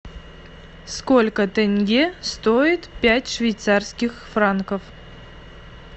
сколько тенге стоит пять швейцарских франков